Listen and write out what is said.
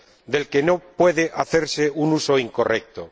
del que no puede hacerse un uso incorrecto.